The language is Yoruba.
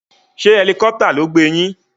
Sé helicopter ló gbé yín